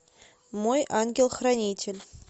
мой ангел хранитель